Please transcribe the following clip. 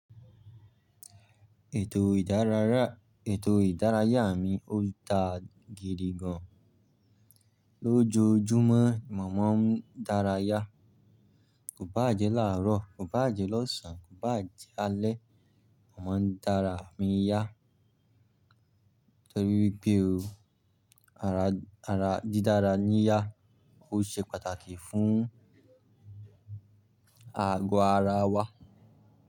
Ètò ìdárayá mi ò dáa gidi gan. Lójojúmọ́, mòmá ń dárayá. Kò bá à jẹ làárọ̀, kò bá à jẹ lọ́sàn-án, kò bá à jẹ lálẹ́, momá ń dára mi yá. Nítorí pé o, ara dídára níyà ó ṣe pàtàkì fún àgọ̀ ara wa.